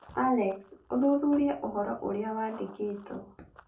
Alex, ũthuthurie ũhoro ũrĩa wandĩkĩtwo.